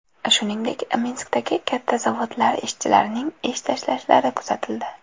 Shuningdek, Minskdagi katta zavodlar ishchilarining ish tashlashlari kuzatildi.